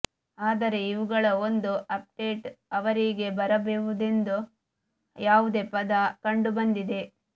ಆದರೆ ಇವುಗಳ ಒಂದು ಅಪ್ಡೇಟ್ ಅವರಿಗೆ ಬರಬಹುದೆಂದು ಯಾವುದೇ ಪದ ಕಂಡುಬಂದಿದೆ